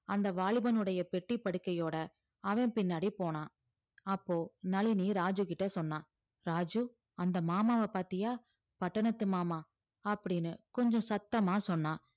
அந்த வாலிபனுடைய பெட்டி படுக்கையோட அவன் பின்னாடி போனான் அப்போ நளினி ராஜுகிட்ட சொன்னா ராஜு அந்த மாமாவப் பாத்தியா பட்டணத்து மாமா அப்படின்னு கொஞ்சம் சத்தமா சொன்னா